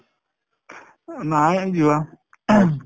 নাই যোৱা